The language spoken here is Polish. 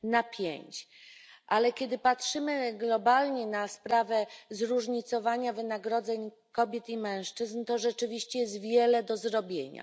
5 Jednak kiedy patrzymy globalnie na sprawę zróżnicowania wynagrodzeń kobiet i mężczyzn, to rzeczywiście jest wiele do zrobienia.